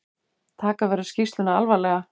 Taka verður skýrsluna alvarlega